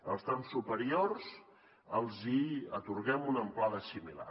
als trams superiors els atorguen una amplada similar